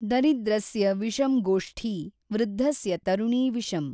ದರಿದ್ರಸ್ಯ ವಿಷಂ ಗೋಷ್ಠೀ ವೃದ್ಧಸ್ಯ ತರುಣೀ ವಿಷಮ್।